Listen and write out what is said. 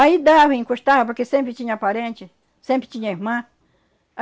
Aí dava, encostava, porque sempre tinha parente, sempre tinha irmã.